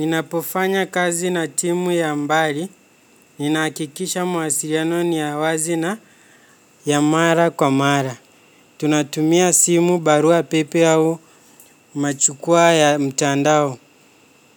Ninapofanya kazi na timu ya mbali, ninahakikisha mawasiliano ni ya wazi na ya mara kwa mara. Tunatumia simu barua pepe au machukua ya mtandao.